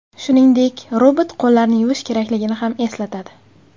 Shuningdek, robot qo‘llarni yuvish kerakligini ham eslatadi.